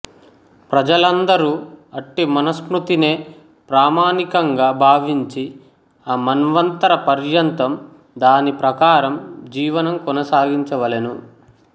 ప్రజలందరు అట్టి మనుస్మృతినే ప్రామాణికంగా బావించి ఆ మన్వంతర పర్యంతం దాని ప్రాకారం జీవనం కొనసాగించవలేను